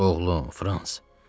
Oğlum, Frans.